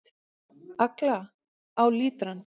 Agla: Á lítrann.